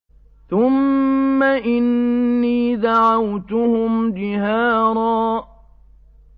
ثُمَّ إِنِّي دَعَوْتُهُمْ جِهَارًا